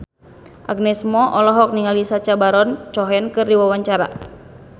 Agnes Mo olohok ningali Sacha Baron Cohen keur diwawancara